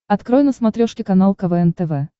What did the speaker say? открой на смотрешке канал квн тв